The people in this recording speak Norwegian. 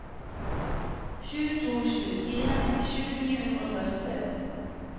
sju to sju fire nittisju ni hundre og førti